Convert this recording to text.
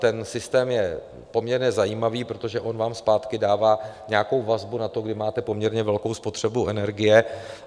Ten systém je poměrně zajímavý, protože on vám zpátky dává nějakou vazbou na to, kdy máte poměrně velkou spotřebu energie.